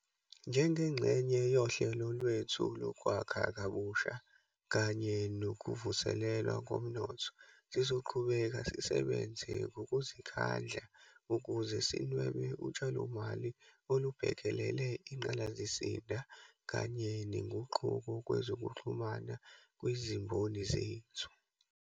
Njengengxenye yohlelo lwethu lokwakha Kabusha kanye nokuvuselelwa komnotho, sizoqhubeka sisebenze ngokuzikhandla ukuze sinwebe utshalomali olubhekelele ingqalasizinda kanye nenguquko kwezokuxhumana kwezimboni zethu.